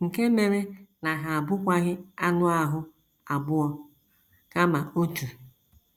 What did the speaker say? Nke mere na ha abụkwaghị anụ ahụ́ abụọ, kama otu.